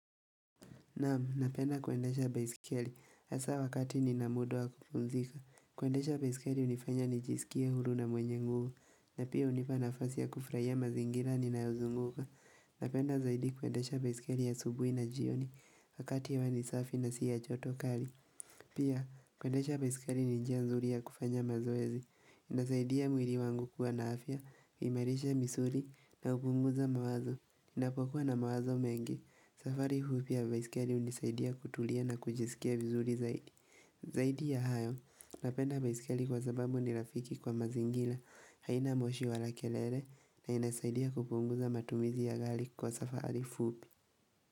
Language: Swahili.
Naam, napenda kuendesha baiskeli, hasa wakati nina muda wa kupumzika. Kuendesha baiskeli hunifanya nijisikie huru na mwenye nguvu, na pia hunipa nafasi ya kufurahia mazingira ninayozunguka. Napenda zaidi kuendesha baiskeli asubuhi na jioni, wakati hewa ni safi na si ya joto kali. Pia, kuendesha baiskeli ni njia nzuri ya kufanya mazoezi, inasaidia mwili wangu kuwa na afya, kuimarisha misuli, na kupunguza mawazo, ninapokuwa na mawazo mengi. Safari huu pia wa baiskeli hunisaidia kutulia na kujisikia vizuri zaidi Zaidi ya hayo, napenda baiskeli kwa sababu ni rafiki kwa mazingira haina moshi wala kelele na inasaidia kupunguza matumizi ya gari kwa safari fupi.